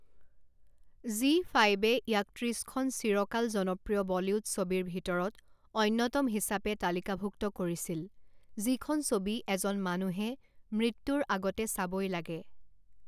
জী ফাইভে ইয়াক ত্ৰিশখন চিৰকাল জনপ্ৰিয় বলীউড ছবিৰ ভিতৰত অন্যতম হিচাপে তালিকাভুক্ত কৰিছিল যিখন ছবি এজন মানুহে মৃত্যুৰ আগতে চাবই লাগে।